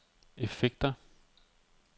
effekter